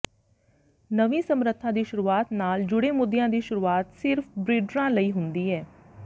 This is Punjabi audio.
ਨਵੀਂ ਸਮਰੱਥਾ ਦੀ ਸ਼ੁਰੂਆਤ ਨਾਲ ਜੁੜੇ ਮੁੱਦਿਆਂ ਦੀ ਸ਼ੁਰੂਆਤ ਸਿਰਫ ਬ੍ਰੀਡਰਾਂ ਲਈ ਹੁੰਦੀ ਹੈ